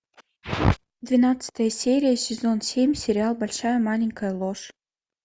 двенадцатая серия сезон семь сериал большая маленькая ложь